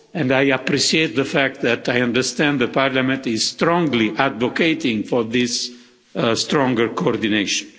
I appreciate the fact that I understand Parliament is strongly advocating for this stronger coordination.